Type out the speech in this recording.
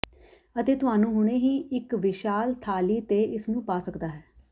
ਅਤੇ ਤੁਹਾਨੂੰ ਹੁਣੇ ਹੀ ਇੱਕ ਵਿਸ਼ਾਲ ਥਾਲੀ ਤੇ ਇਸ ਨੂੰ ਪਾ ਸਕਦਾ ਹੈ